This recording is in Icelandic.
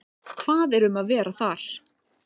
Hvað er um að vera þar?